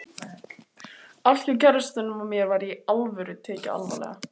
Allt hjá kærastanum og mér var Í ALVÖRU og tekið alvarlega.